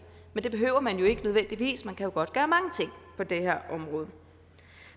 men det behøver man jo ikke nødvendigvis man kan jo godt gøre mange ting på det her område